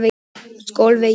Skólavegi